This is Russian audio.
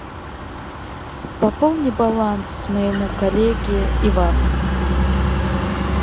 пополни баланс моему коллеге ивану